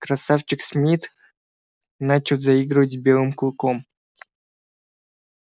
красавчик смит начал заигрывать с белым клыком